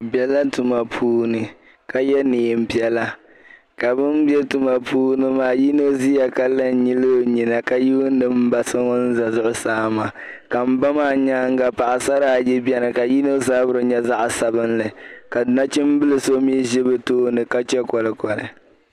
Bɛ bɛla tuma puuni ka yɛ neein piɛla ka bɛni bɛ tuma puuni maa yino ziya ka lan nyili o nyina ka yuuni mba so ŋun za zuɣusaa maa ka mba maa nyaaŋa paɣisara ayi bɛni ka yino zabiri nyɛ zab'sabinla ka nachimbili so mii zi bɛ tooni ka chɛ kɔlikɔli